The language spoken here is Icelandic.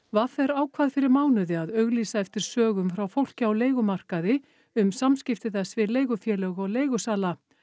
v r ákvað fyrir mánuði að auglýsa eftir sögum frá fólki á leigumarkaði um samskipti þess við leigufélög og leigusala